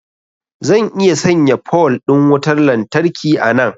zan iya sanya pole din wutar lantarki a nan